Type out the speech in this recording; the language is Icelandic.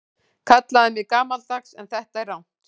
Kallið mig gamaldags en þetta er rangt.